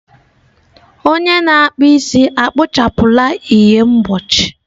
Onye na-akpụ isi ekpochapụla ihe mgbochi.